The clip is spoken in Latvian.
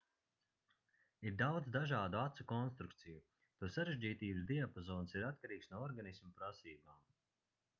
ir daudz dažādu acu konstrukciju to sarežģītības diapazons ir atkarīgs no organisma prasībām